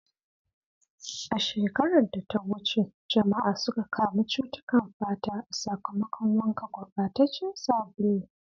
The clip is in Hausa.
A shekarar da ta wuce, jama'a suka kamu cutukan fata a sakamakon wanka gurbataccen sabulu.